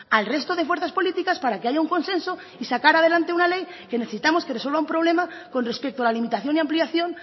al resto de fuerzas políticas para que haya un consenso y sacar adelante una ley que necesitamos que resuelva un problema con respecto a la limitación y ampliación